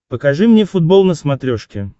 покажи мне футбол на смотрешке